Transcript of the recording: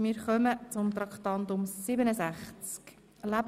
Wir kommen zu Traktandum 67.